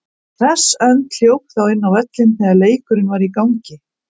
Hress önd hljóp þá inn á völlinn þegar leikurinn var í gangi.